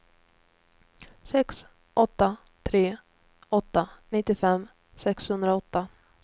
sex åtta tre åtta nittiofem sexhundraåtta